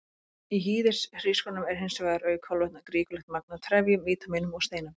Í hýðishrísgrjónum er hins vegar, auk kolvetna, ríkulegt magn af trefjum, vítamínum og steinefnum.